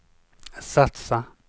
satsa